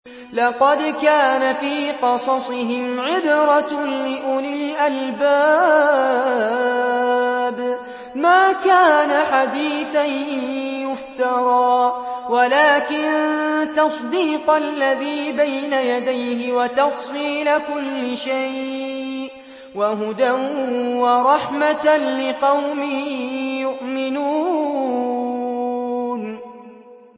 لَقَدْ كَانَ فِي قَصَصِهِمْ عِبْرَةٌ لِّأُولِي الْأَلْبَابِ ۗ مَا كَانَ حَدِيثًا يُفْتَرَىٰ وَلَٰكِن تَصْدِيقَ الَّذِي بَيْنَ يَدَيْهِ وَتَفْصِيلَ كُلِّ شَيْءٍ وَهُدًى وَرَحْمَةً لِّقَوْمٍ يُؤْمِنُونَ